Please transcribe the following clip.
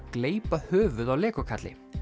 gleypa höfuð á Lego kalli